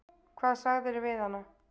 Hvað sagðirðu við hana?